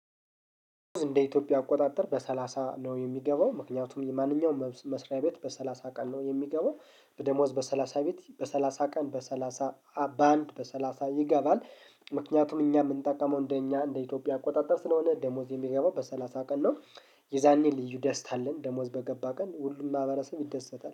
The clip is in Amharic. እንደ ኢትዮጵያ አቆጣጠር በሰላሳ ነው የሚገባው ምክንያቱም የማንኛውም መስሪያ ቤት በሰላሳ ቀን ነው የሚገባው በደሞዝ በሰላሳ ቤት በሰላሳ በሰላሳ በአንድ በሰላሳ ይገባል። ምክንያቱም እኛ የምንጠቀመው እንደ እኛ እንደ ኢትዮጵያ አቆጣጠር ስለሆነ ደሞዝ የሚገባው በሰላሳ ቀን ነው። የዛኔ ልዩ ደስታ አለን ደሞዝ በገባ ቀን ሁሉም ማህበረሰብ ይደሰታል